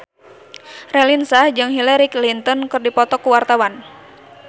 Raline Shah jeung Hillary Clinton keur dipoto ku wartawan